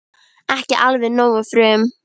Ekki alveg nógu frum